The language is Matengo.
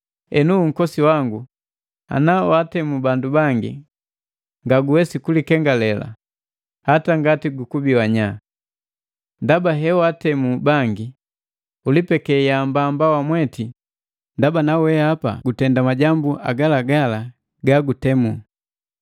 Henu unkosi wangu ana untemu bandu bangi, ngaguwesi kulikengale, hata ngati gukubi wanya. Ndaba, hewaatemu bangi, ulipeke yaambamba wamweti ndaba na weapa gutenda majambu agalagala gagutemu.